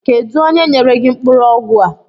Kedu onye nyere gị mkpụrụ ọgwụ a?